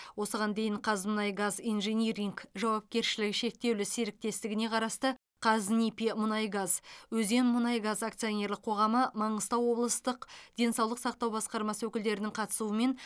осыған дейін қазмұнайгаз инжиниринг жауапкершілігі шектеулі серіктестігіне қарасты қазнипимунайгаз өзенмұнайгаз акционерлік қоғамы маңғыстау облыстық денсаулық сақтау басқармасы өкілдерінің қатысуымен